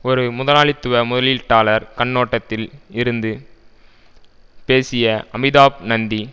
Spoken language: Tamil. ஒரு முதலாளித்துவ முதலீட்டாளர் கண்ணோட்டத்தில் இருந்து பேசிய அமிதாப் நந்தி